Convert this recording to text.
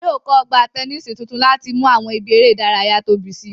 Wọn yóò kọ́ Ọgbà tẹnísì tuntun láti mú àwọn ibi eré ìdárayá tóbi si